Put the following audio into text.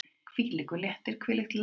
Hvílíkur léttir, hvílíkt lán!